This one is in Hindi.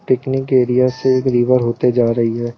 पिकनिक एरिया से एक रिवर होते जा रही है।